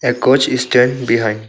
A coach is stand behind.